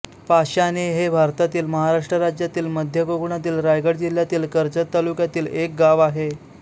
पाशाणे हे भारतातील महाराष्ट्र राज्यातील मध्य कोकणातील रायगड जिल्ह्यातील कर्जत तालुक्यातील एक गाव आहे